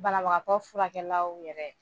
Banabagatɔ furakɛlaw yɛrɛ.